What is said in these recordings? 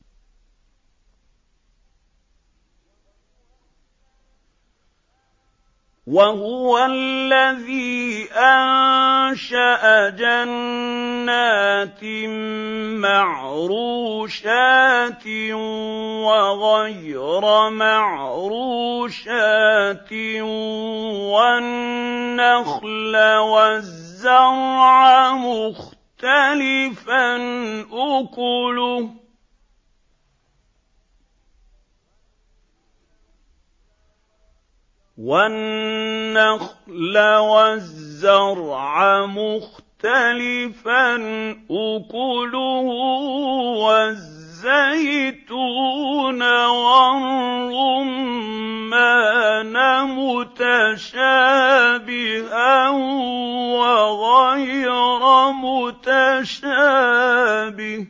۞ وَهُوَ الَّذِي أَنشَأَ جَنَّاتٍ مَّعْرُوشَاتٍ وَغَيْرَ مَعْرُوشَاتٍ وَالنَّخْلَ وَالزَّرْعَ مُخْتَلِفًا أُكُلُهُ وَالزَّيْتُونَ وَالرُّمَّانَ مُتَشَابِهًا وَغَيْرَ مُتَشَابِهٍ ۚ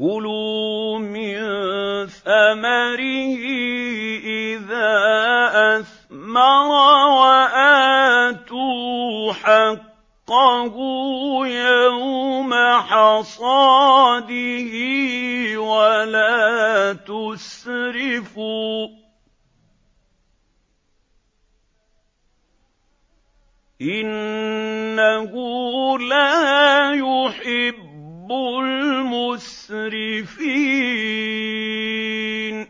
كُلُوا مِن ثَمَرِهِ إِذَا أَثْمَرَ وَآتُوا حَقَّهُ يَوْمَ حَصَادِهِ ۖ وَلَا تُسْرِفُوا ۚ إِنَّهُ لَا يُحِبُّ الْمُسْرِفِينَ